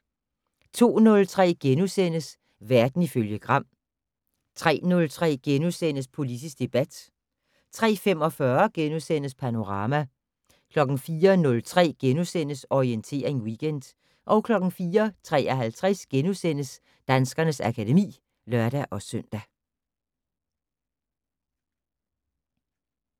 02:03: Verden ifølge Gram * 03:03: Politisk debat * 03:45: Panorama * 04:03: Orientering Weekend * 04:53: Danskernes akademi *(lør-søn)